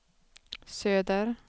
söder